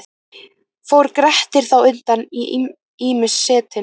Fór Grettir þá undan í ýmis setin.